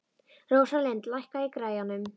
Rósalind, lækkaðu í græjunum.